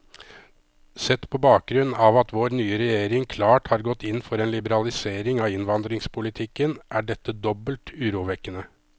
Sett på bakgrunn av at vår nye regjering klart har gått inn for en liberalisering av innvandringspolitikken, er dette dobbelt urovekkende.